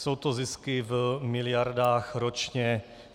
Jsou to zisky v miliardách ročně.